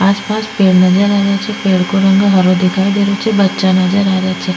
आस पास पेड़ नजर आ रहे छे पेड़ को रंग हरो दिखाई दे रहे छे बच्चा नजर आ रहे छे।